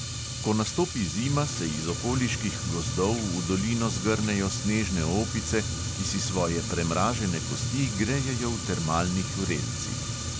Ko nastopi zima, se iz okoliških gozdov v dolino zgrnejo snežne opice, ki si svoje premražene kosti grejejo v termalnih vrelcih.